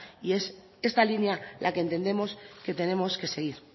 y es esta línea la que entendemos que tenemos que seguir